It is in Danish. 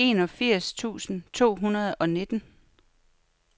enogfirs tusind to hundrede og nitten